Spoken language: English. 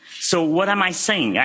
So what am I saying?